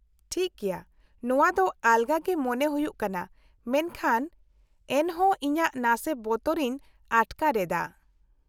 -ᱴᱷᱤᱠ ᱜᱮᱭᱟ, ᱱᱚᱶᱟ ᱫᱚ ᱟᱞᱜᱟ ᱜᱮ ᱢᱚᱱᱮ ᱦᱩᱭᱩᱜ ᱠᱟᱱᱟ ᱢᱮᱱᱠᱷᱟᱱ ᱮᱱᱦᱚᱸ ᱤᱧᱟᱹᱜ ᱱᱟᱥᱮ ᱵᱚᱛᱚᱨ ᱤᱧ ᱟᱴᱠᱟᱨ ᱮᱫᱟ ᱾